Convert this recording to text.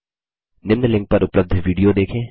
निम्न लिंक पर उपलब्ध विडियो देखें